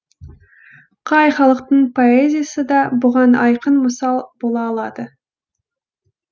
қай халықтың поэзиясы да бұған айқын мысал бола алады